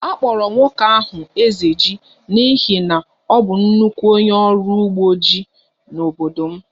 A kpọrọ nwoke ahụ 'Ezeji' n'ihi na ọ bụ nnukwu onye ọrụ ugbo ji n'obodo m